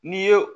N'i ye